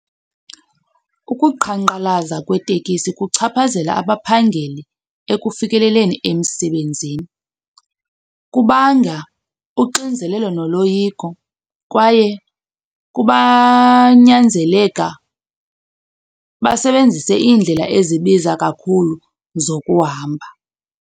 Ukuqhankqalaza kwetekisi kuchaphazela abaphangeli ekufikeleleni emsebenzini. Kubanga uxinzelelo noloyiko kwaye basebenzise iindlela ezibiza kakhulu zokuhamba.